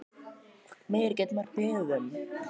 Hvað meira gæti maður beðið um?